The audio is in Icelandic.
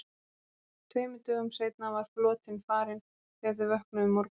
Tveimur dögum seinna var flotinn farinn þegar þau vöknuðu um morguninn.